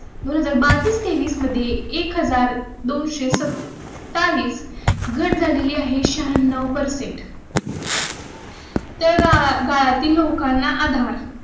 बावीस तेवीस मध्ये एक हजार दोन सो चालीस घट झालेली आहे. शह्याण्णव परसेंट तळागाळा तील लोकांना आधार.